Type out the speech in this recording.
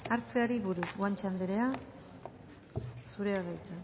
hartzeari buruz guanche anderea zurea da hitza